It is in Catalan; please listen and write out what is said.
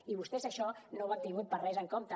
i vostès això no ho han tingut per a res en compte